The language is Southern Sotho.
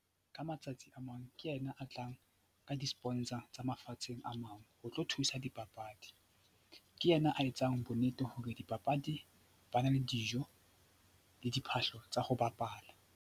Ka matsatsi a mang ke yena a tlang ka di-sponsor tsa mafatsheng a mang ho tlo thusa dipapadi. Ke yena a etsang bonnete hore dipapadi ba na le dijo le diphahlo tsa ho bapala.